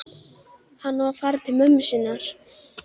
Þið vilduð firra ykkur sjálfa allri ábyrgð.